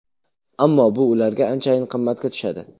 Ammo bu ularga anchayin qimmatga tushadi.